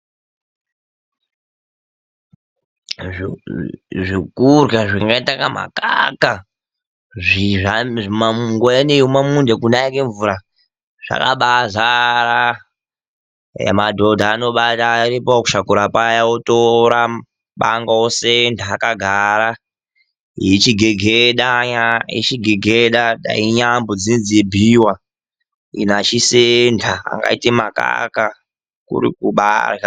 Zvekurya zvakaita semagaka nguva ino yekumunda yekunaya kwemvura zvakazara ,madhodha aremba nekusakura anotora banga vosenda vakagara , vachigegeda dai inyambo dzeibhuyiwa. Ino vachisenda akaita makaka kukumbairya.